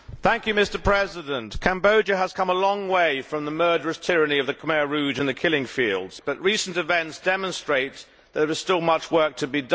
Mr President, Cambodia has come a long way from the murderous tyranny of the Khmer Rouge and the Killing Fields, but recent events demonstrate there is still much work to be done.